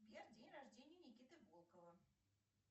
сбер день рождения никиты волкова